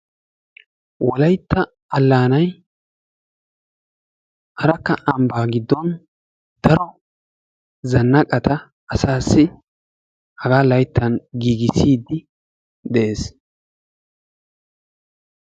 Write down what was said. wollaytta allaanay arekka ambbaa giddon daro zannaqata asaasi hagaa layttaa giigissiidi de'ees.